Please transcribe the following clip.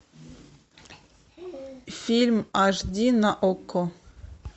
фильм аш ди на окко